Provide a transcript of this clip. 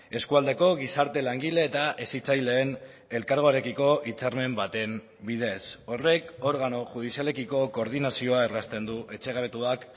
eskualdeko gizarte langile eta hezitzaileen elkargoarekiko hitzarmen baten bidez horrek organo judizialekiko koordinazioa errazten du etxe gabetuak